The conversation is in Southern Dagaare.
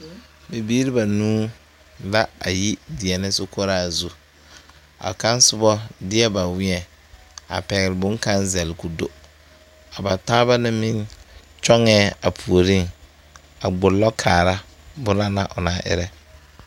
Bibiiri banuu la a yi deɛnɛ sokoɔraa zu a kaŋ soba deɛ ba weɛŋ a pɛgle bonkaŋ zɛle k,o do a ba taaba na meŋ kyɔŋɛɛ a puoriŋ a gbollɔ kaara bone na o naŋ erɛ.